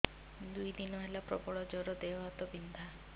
ଦୁଇ ଦିନ ହେଲା ପ୍ରବଳ ଜର ଦେହ ହାତ ବିନ୍ଧା